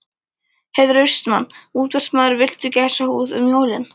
Heiðar Austmann, útvarpsmaður Viltu gæsahúð um jólin?